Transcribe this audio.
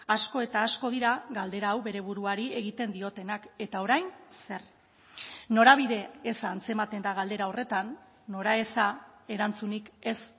asko eta asko dira galdera hau bere buruari egiten diotenak eta orain zer norabide eza antzematen da galdera horretan noraeza erantzunik ez